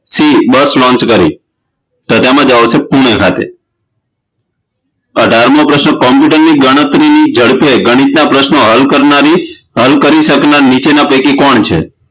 C Bus Launch કરી તો તેનો જવાબ છે પૂણે ખાતે અઢારમો પ્રશ્ન computer ની ગણતરીની જડપે ગણિતના પ્રશ્નો હલ કરનારી હલ કરી શકનાર નીચેના પૈકી કોણ છે